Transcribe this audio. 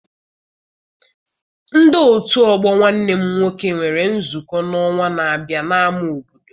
Ndi otu ọgbọ nwanne m nwoke nwere nzukọ n'ọnwa n'abia n'ama obodo.